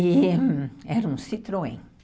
E era um Citroën.